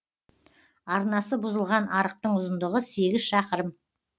арнасы бұзылған арықтың ұзындығы сегіз шақырым